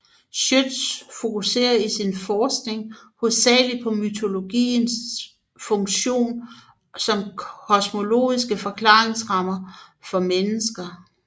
Schjødts fokuserer i sin forskning hovedsageligt på mytologien funktion som kosmologisk forklaringsramme for mennesker